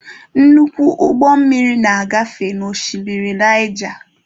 Nnukwu ụgbọ mmiri na-agafe n'oshimmiri Naija.